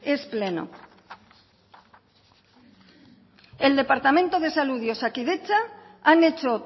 es pleno el departamento de salud y osakidetza han hecho